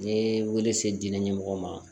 Ni wele se diinɛ ɲɛmɔgɔ ma